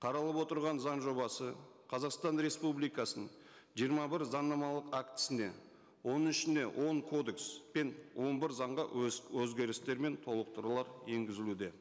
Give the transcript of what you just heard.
қаралып отырған заң жобасы қазақстан республикасының жиырма бір заңнамалық актісіне оның ішіне он кодекс пен он бір заңға өзгерістер мен толықтырулар енгізілуде